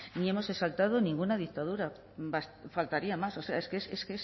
ni hemos exaltado ninguna dictadura faltaría más o sea es que